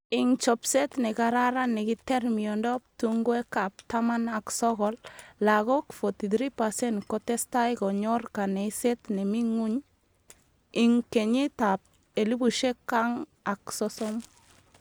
Ing chopset ne kararan nekiter miondop tungwek ap taman ak sokol, lagok 43% ko testai konyor kaneiset ne mi nguny ing kenyit ap elipushek ang ak sosom.